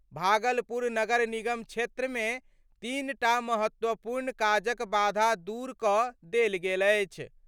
भागलपुर नगर निगम क्षेत्र मे तीनटा महत्वपूर्ण काजक बाधा दूर कड देल गेल अछि।